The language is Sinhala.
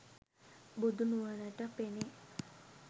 බුදු නුවණට පෙනේ.